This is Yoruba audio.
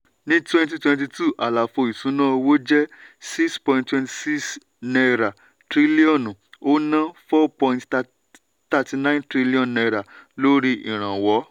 ní 2022 àlàfo ìsúná owó jẹ́ n6.26 trillion ó ná n4.39 trillion lórí ìrànwọ́.